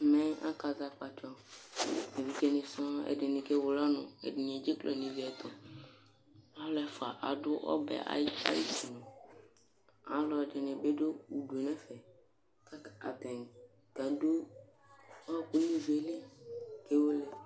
Ɛmɛ akazɛ akpatsɔ, evidzeni sɔŋ, ɛdini kewele ɔnʋ ɛdini nʋ iviyɛ ɛtʋ ɛdi ɛfʋa adʋ ɔbɛ ayʋ itisenʋ, alʋɛdini bi dʋ ʋdʋ yɛnʋ ɛfɛ kʋ atani kadʋ ɔkʋ nʋ ivi yɛli kewele